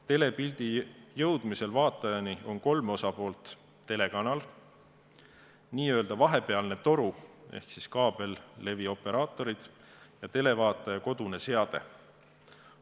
Telepildi jõudmisel vaatajani on kolm osapoolt: telekanal, n-ö vahepealne toru ehk kaabellevioperaatorid ja televaataja kodune seade.